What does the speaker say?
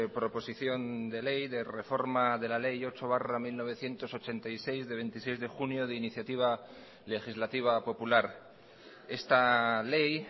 proposición de ley de reforma de la ley ocho barra mil novecientos ochenta y seis de veintiséis de junio de iniciativa legislativa popular esta ley